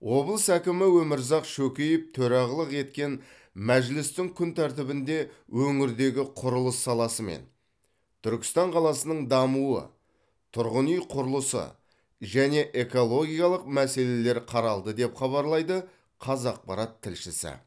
облыс әкімі өмірзақ шөкеев төрағылық еткен мәжілістің күн тәртібінде өңірдегі құрылыс саласы мен түркістан қаласының дамуы тұрғын үй құрылысы және экологиялық мәселелер қаралды деп хабарлайды қазақпарат тілшісі